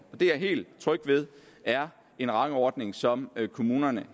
er jeg helt tryg ved er en rangordning som kommunerne